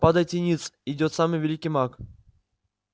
падайте ниц идёт самый великий маг